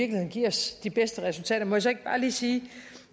kan give os de bedste resultater må jeg så ikke bare lige sige at